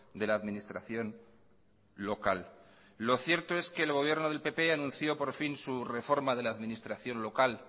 de la administración local lo cierto es que el gobierno del pp anunció por fin su reforma de la administración local